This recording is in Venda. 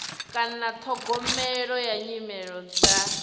kana ṱhogomelo ya nyimele dza